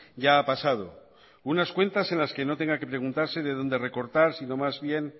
ya ha pasado unas cuentas en las que no tenga que preguntarse de dónde recortar sino más bien